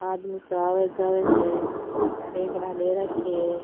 आदमी सा आवे जावे है बेगड़ा ले राखा है।